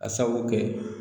A sabu kɛ